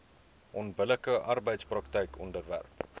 onbillike arbeidspraktyke onderwerp